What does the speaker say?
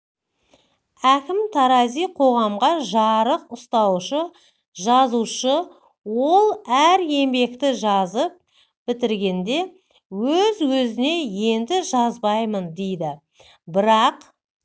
әкім тарази қоғамға жарық ұстаушы жазушы ол әр еңбекті жазып бітіргенде өз-өзіне енді жазбаймын дейді бірақ